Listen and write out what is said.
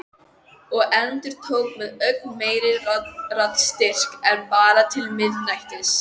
Og endurtók með ögn meiri raddstyrk: En bara til miðnættis.